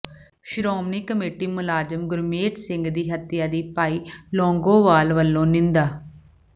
Shiromani committee ਮੁਲਾਜ਼ਮ ਗੁਰਮੇਜ ਸਿੰਘ ਦੀ ਹੱਤਿਆ ਦੀ ਭਾਈ ਲੌਂਗੋਵਾਲ ਵੱਲੋਂ ਨਿੰਦਾ